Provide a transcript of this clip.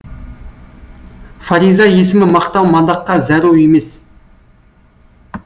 фариза есімі мақтау мадаққа зәру емес